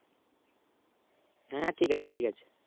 হ্যাঁ ঠিক আছে ঠিক আছে